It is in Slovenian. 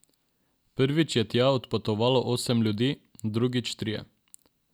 Prvič je tja odpotovalo osem ljudi, drugič trije.